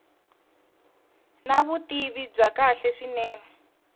na vutivi bya kahle swinene